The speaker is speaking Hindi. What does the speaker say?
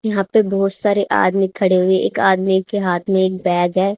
यहां पे बहोत सारे आदमी खड़े हुए एक आदमी के हाथ में एक बैग है।